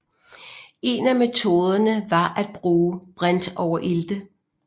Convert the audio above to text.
En af metoderne var at bruge brintoverilte